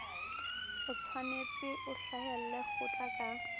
otshwanetse o hlahelle kgotla ka